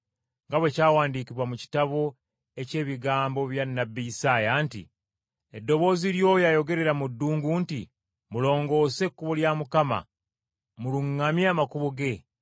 nga bwe kyawandiikibwa mu kitabo eky’ebigambo bya nnabbi Isaaya nti, “Eddoboozi ly’oyo ayogerera mu ddungu nti, Mulongoose ekkubo lya Mukama, Muluŋŋamye amakubo ge;